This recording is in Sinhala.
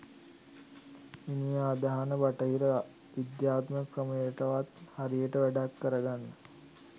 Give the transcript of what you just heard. මිනිහා අදහන බටහිර විද්‍යාත්මක ක්‍රමයටවත් හරියට වැඩක් කරගන්න